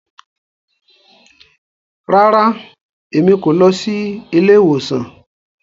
Rara, Èmí kò lọ sí ilé-ìwòsàn